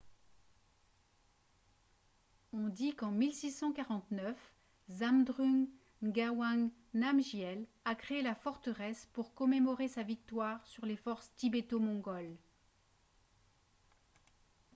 on dit qu'en 1649 zhabdrung ngawang namgyel a créé la forteresse pour commémorer sa victoire sur les forces tibéto-mongoles